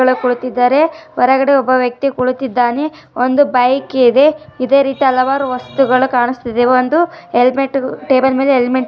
ಹೊರಡೊಬ್ರು ಗೊತ್ತಿದ್ದಾರೆ ಒಳಗಡೆ ಒಬ್ಬ ವ್ಯಕ್ತಿ ಕುಳಿತಿದ್ದಾನೆ ಒಂದು ಬೈಕ್ ಇದೆ ಇದೇ ರೀತಿ ಹಲವಾರು ವಸ್ತುಗಳು ಕಾಣುತ್ತಿದೆ ಅದರಲ್ಲಿ ಒಂದು ಟೇಬಲ್ ಮೇಲೆ ಹೆಲ್ಮೆಟ್ .